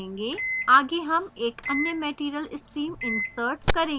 आगे हम एक अन्य material stream insert करेंगे